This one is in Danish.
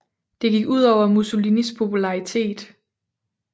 Det gik ud over Mussolini popularitet